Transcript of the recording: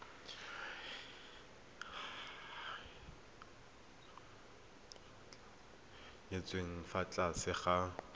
nyetswe ka fa tlase ga